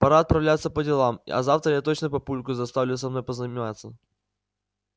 пора отправляться по делам а завтра я точно папульку заставлю со мной позаниматься